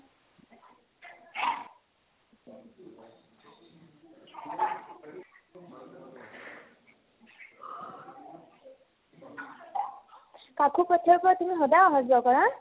কাকো পথাৰ ৰ পৰা তুমি সদায় আহা যোৱা কৰা ?